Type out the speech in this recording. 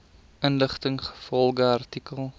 inligting ingevolge artikel